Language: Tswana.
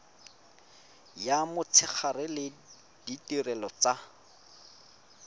ya motshegare le ditirelo tsa